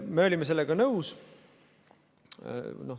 Me olime sellega nõus.